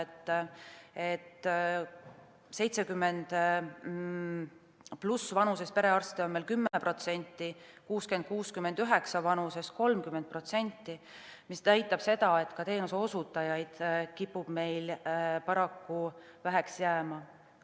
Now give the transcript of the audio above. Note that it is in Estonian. Vanuses 70+ perearste on meil 10%, vanuses 60–69 aastat 30%, mis näitab seda, et ka teenuseosutajaid kipub meil paraku väheks jääma.